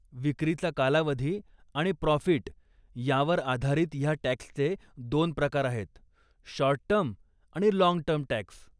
विक्रीचा कालावधी आणि प्रॉफीट यांवर आधारित ह्या टॅक्सचे दोन प्रकार आहेत, शॉर्ट टर्म आणि लाँग टर्म टॅक्स.